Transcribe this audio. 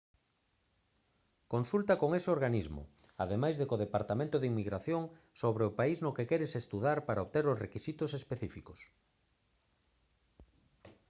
consulta con ese organismo ademais de co departamento de inmigración sobre o país no que queres estudar para obter os requisitos específicos